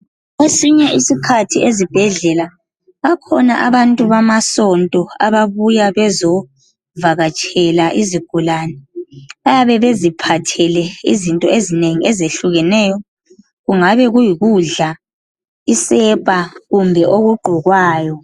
Esinye ikikhathi ezibhedlela bakhona abantu bamasonto ababuya bezovakatshela izigulani bayabe beziphathele izinto ezinengi ezehlukeneyo kungabe kuyikudla isepa kumbe okugqokwayo